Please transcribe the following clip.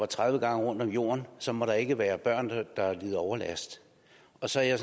tredive gange rundt i jorden så må der ikke være børn der lider overlast og så er jeg